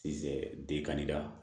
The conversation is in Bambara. Siyɛ den ka di la